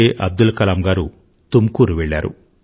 అబ్దుల్ కలాం గారు తుమ్కూరు వెళ్లారు